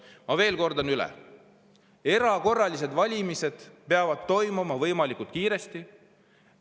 Ma veel kordan: erakorralised valimised peavad toimuma võimalikult kiiresti.